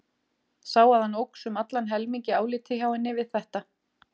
Sá að hann óx um allan helming í áliti hjá henni við þetta.